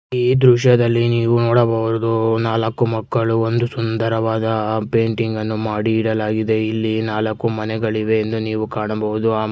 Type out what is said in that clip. E ದೃಶ್ಯದಲ್ಲಿ ನೀವು ನೋಡಬಹುದು ನಾಲಕ್ಕು ಮಕಳ್ಳು ಒಂದು ಸುಂದರವಾದ ಪೇಂಟಿಂಗ್ ಅನ್ನು ಮಾಡಿ ಇಡಲಾಗಿದೆ ಇಲ್ಲಿ ನಾಲಕ್ಕು ಮನೆಗಳಿವೆ ಎಂದು ನೀವು ಕಾಣಬಹುದು --